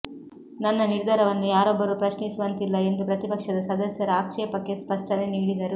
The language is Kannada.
ನನ್ನ ನಿರ್ಧಾರವನ್ನು ಯಾರೊಬ್ಬರೂ ಪ್ರಶ್ನಿಸುವಂತಿಲ್ಲ ಎಂದು ಪ್ರತಿಪಕ್ಷದ ಸದಸ್ಯರ ಆಕ್ಷೇಪಕ್ಕೆ ಸ್ಪಷ್ಟನೆ ನೀಡಿದರು